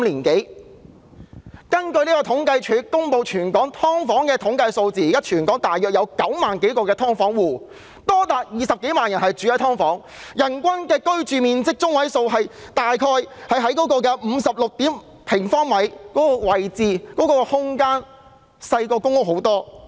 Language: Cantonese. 根據政府統計處公布的全港"劏房戶"統計數字，現時全港約有9萬多個"劏房戶"，即是有多達20多萬人居住在"劏房"，人均居住面積中位數只有約56平方呎，比公屋擠迫和細小得多。